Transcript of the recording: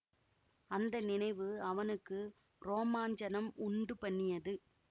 அந்த நினைவு அவனுக்கு ரோமாஞ்சனம் உண்டு பண்ணியது